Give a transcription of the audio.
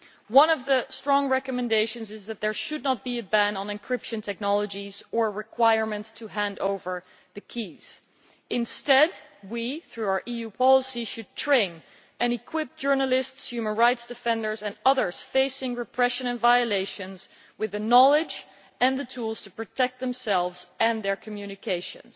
One of the strong recommendations is that there should not be a ban on encryption technologies or requirements to hand over the keys. Instead, we, through our EU policy, should train and equip journalists, human rights defenders and others facing repression and violations with the knowledge and the tools to protect themselves and their communications.